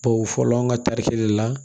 Bawo fɔlɔ an ka tari kelen de la